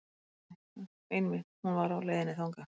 Jú, jú einmitt hún var á leiðinni þangað.